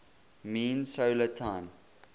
mean solar time